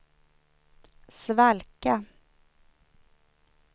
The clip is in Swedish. svalka